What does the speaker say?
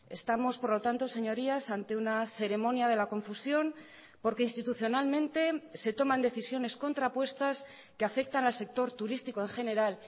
estamos por lo tanto señorías ante una ceremonia de la confusión porque institucionalmente se toman decisiones contrapuestas que afectan al sector turístico en general